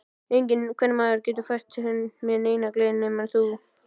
Enginn kvenmaður getur fært mér neina gleði nema þú.